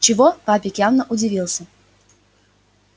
чего папик явно удивился